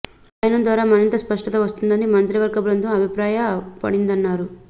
అధ్యయనం ద్వారా మరింత స్పష్టత వస్తుందని మంత్రివర్గ బృందం అభిప్రాయ పడిందన్నారు